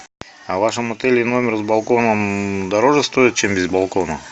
а в вашем отеле номер с балконом дороже стоит чем без балкона